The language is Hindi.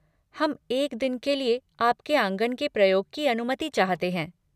हम एक दिन के लिए आपके आँगन के प्रयोग की अनुमति चाहते हैं।